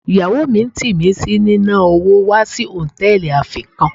Ìyàwó mi ń tì mí sí ní ná wò wa si Hòtẹ́lìì afé kan.